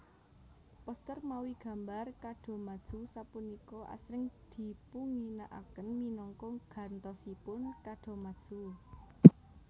Poster mawi gambar kadomatsu sapunika asring dipunginakaken minangka gantosipun kadomatsu